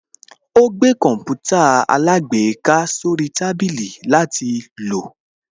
Ó gbé Kọǹpútà alágbèéká sórí tábìlì látil lò